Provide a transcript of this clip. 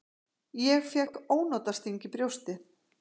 Ég fékk ónotasting í brjóstið.